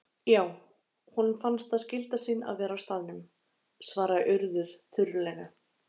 Já, honum fannst það skylda sín að vera á staðnum- svaraði Urður þurrlega.